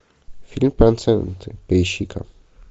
фильм проценты поищи ка